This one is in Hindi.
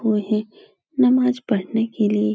उहे नमाज़ पड़ने के लिये --